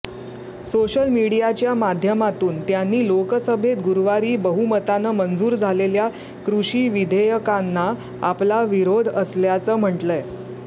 social मीडियाच्या माध्यमातून त्यांनी लोकसभेत गुरुवारी बहुमतानं मंजूर झालेल्या कृषिविधेयकांना आपला विरोध असल्याचं म्हटलंय